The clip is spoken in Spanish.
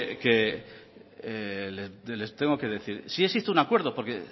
luego que les tengo que decir sí existe un acuerdo porque